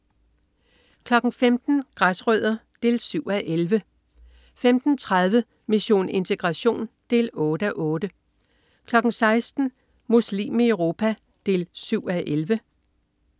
15.00 Græsrødder 7:11 15.30 Mission integration 8:8 16.00 Muslim i Europa 7:11